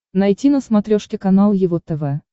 найти на смотрешке канал его тв